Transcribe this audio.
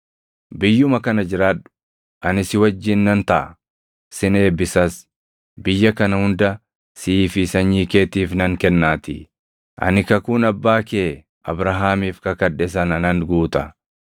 Biyyuma kana jiraadhu; ani si wajjin nan taʼa; sin eebbisas; biyya kana hunda sii fi sanyii keetiif nan kennaatii. Ani kakuun abbaa kee Abrahaamiif kakadhe sana nan guuta.